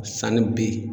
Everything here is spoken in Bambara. Sanni b